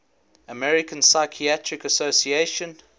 american psychiatric association